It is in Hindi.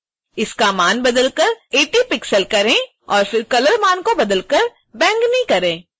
इसका मान बदलकर 80 पिक्सेल करें और फिर colour मान को बदलकर बैंगनी करें